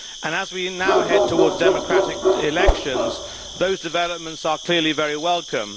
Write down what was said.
As we now head towards democratic elections, those developments are clearly very welcome.